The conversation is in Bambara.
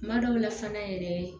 Kuma dɔw la fana yɛrɛ